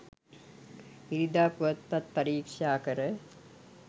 ඉරිදා පුවත්පත් පරීක්ෂා කර